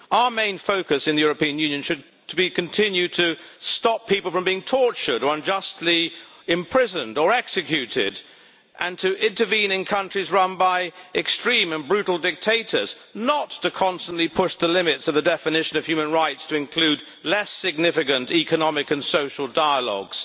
Our main focus in the European Union should be to continue to stop people from being tortured, unjustly imprisoned or executed and to intervene in countries run by extreme and brutal dictators, not to constantly push the limits of the definition of human rights to include less significant economic and social dialogues.